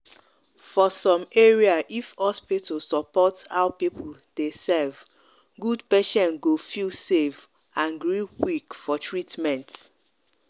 for some area if hospital support how people dey serve good patient go feel safe and quick for treatment